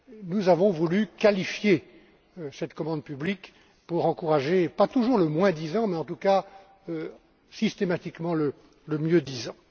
Nous avons voulu qualifier cette commande publique pour encourager, pas toujours le moins disant, mais en tous cas, systématiquement le mieux disant.